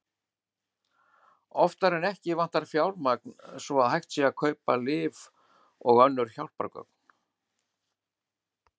Oftar en ekki vantar fjármagn svo að hægt sé að kaupa lyf og önnur hjálpargögn.